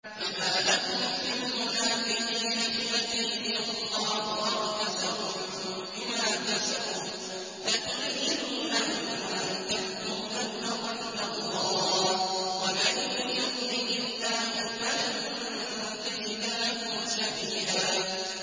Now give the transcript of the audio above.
۞ فَمَا لَكُمْ فِي الْمُنَافِقِينَ فِئَتَيْنِ وَاللَّهُ أَرْكَسَهُم بِمَا كَسَبُوا ۚ أَتُرِيدُونَ أَن تَهْدُوا مَنْ أَضَلَّ اللَّهُ ۖ وَمَن يُضْلِلِ اللَّهُ فَلَن تَجِدَ لَهُ سَبِيلًا